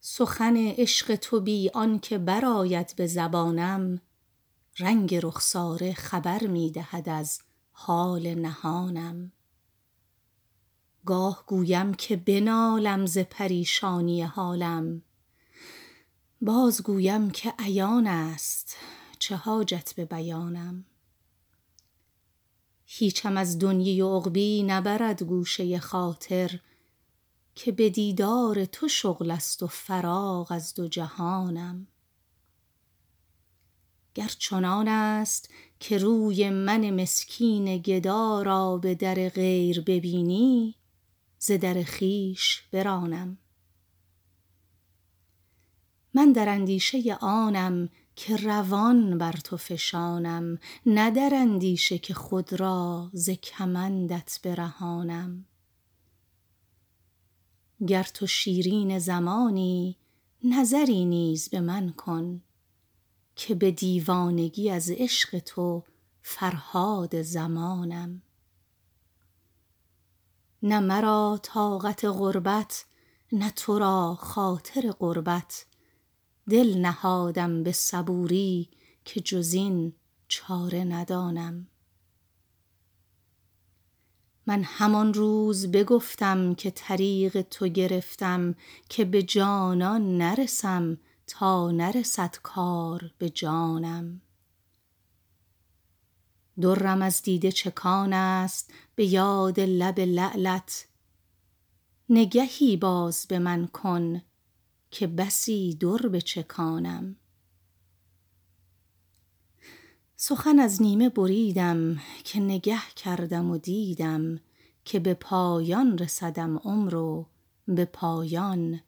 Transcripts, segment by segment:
سخن عشق تو بی آن که برآید به زبانم رنگ رخساره خبر می دهد از حال نهانم گاه گویم که بنالم ز پریشانی حالم بازگویم که عیان است چه حاجت به بیانم هیچم از دنیی و عقبیٰ نبرد گوشه خاطر که به دیدار تو شغل است و فراغ از دو جهانم گر چنان است که روی من مسکین گدا را به در غیر ببینی ز در خویش برانم من در اندیشه آنم که روان بر تو فشانم نه در اندیشه که خود را ز کمندت برهانم گر تو شیرین زمانی نظری نیز به من کن که به دیوانگی از عشق تو فرهاد زمانم نه مرا طاقت غربت نه تو را خاطر قربت دل نهادم به صبوری که جز این چاره ندانم من همان روز بگفتم که طریق تو گرفتم که به جانان نرسم تا نرسد کار به جانم درم از دیده چکان است به یاد لب لعلت نگهی باز به من کن که بسی در بچکانم سخن از نیمه بریدم که نگه کردم و دیدم که به پایان رسدم عمر و به پایان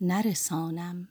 نرسانم